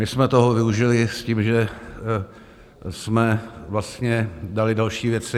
My jsme toho využili s tím, že jsme vlastně dali další věci.